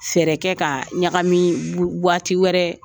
Fɛɛrɛ kɛ ka ɲagami waati wɛrɛ